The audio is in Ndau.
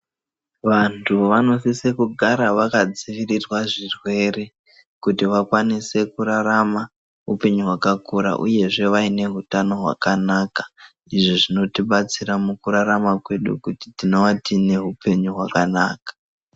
Vantu vanosise kugara vakadzivirirwa zvirwere kuti vakwanise kurarama upenyu wakakura uye zvee vaine utano wakanaka, izvi zvinotibatsira mukurarama kwedu kuti tinova neupenyu wakanaka.